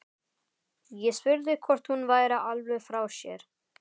Ég spurði hvort hún væri alveg frá sér.